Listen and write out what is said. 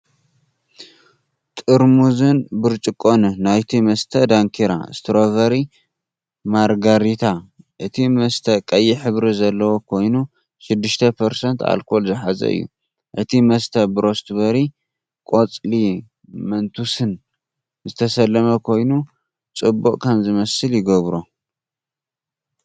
ጥርሙዝን ብርጭቆን ናይቲ መስተ "ዳንኪራ" ስትሮቨሪ ማርጋሪታ። እቲ መስተ ቀይሕ ሕብሪ ዘለዎ ኮይኑ 6% ኣልኮል ዝሓዘ እዩ። እቲ መስተ ብስትሮቤሪን ቆጽሊ መንቱስን ዝተሰለመ ኮይኑ፡ ጽቡቕ ከም ዝመስል ይገብሮ።